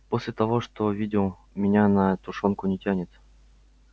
после того что видел меня на тушёнку не тянет